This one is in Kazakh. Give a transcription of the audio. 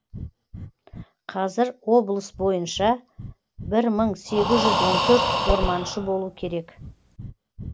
қазір облыс бойынша бір мың сегіз жүз он төрт орманшы болу керек